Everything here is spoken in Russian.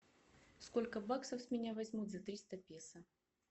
сколько баксов с меня возьмут за триста песо